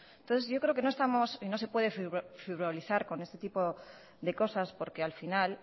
entonces yo creo que no estamos no se puede frivolizar con este tipo de cosas porque al final